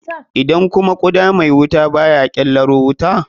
Idan kuma guda mai wuta baya ƙelaro wuta?